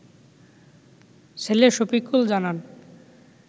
ছেলে শফিকুল জানান